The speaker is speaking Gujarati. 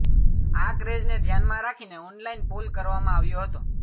આ ક્રેઝને ધ્યાનમાં રાખીને ઓનલાઇન પોલ કરવામાં આવ્યો હતો